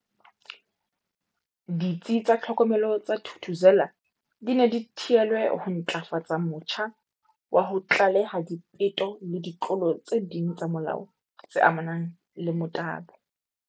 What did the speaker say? Ditsi tsa tlhokomelo tsa Thuthuzela di ne di theelwe ho ntlafatsa motjha wa ho tlaleha dipeto le ditlolo tse ding tsa molao tse amanang le motabo.